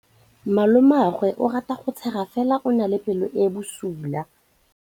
Malomagwe o rata go tshega fela o na le pelo e e bosula.